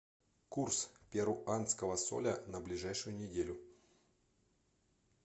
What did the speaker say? курс перуанского соля на ближайшую неделю